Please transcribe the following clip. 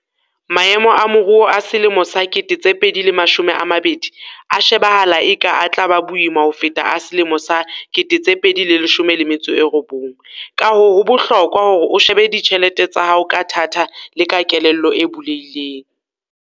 Maemo a moruo a selemo sa 2020 a shebahala eka a tla ba boima ho feta a selemo sa 2019, kahoo ho bohlokwa hore o shebe ditjhelete tsa hao ka thata le ka kelello e bulehileng.